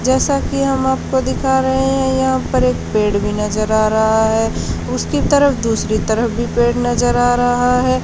जैसा कि हम आपको दिख रहे हैं यहां पर एक पेड़ भी नजर आ रहा है उसकी तरफ दूसरी तरफ भी पेड़ नजर आ रहा है।